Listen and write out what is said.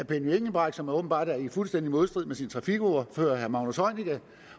benny engelbrecht som åbenbart er i fuldstændig modstrid med sin trafikordfører herre magnus heunicke